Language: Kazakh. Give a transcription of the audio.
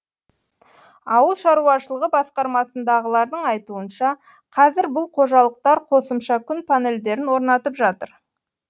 ауыл шаруашылығы басқармасындағылардың айтуынша қазір бұл қожалықтар қосымша күн панельдерін орнатып жатыр